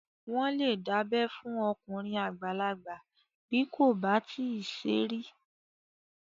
Wọ́n lè dábẹ́ fún okùnrin àgbàlagbà bí kò bá tíì ṣe rí